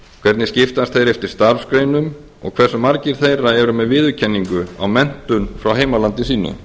hvernig skiptast þeir eftir starfsgreinum og hversu margir þeirra eru með viðurkenningu á menntun frá heimalandi sínu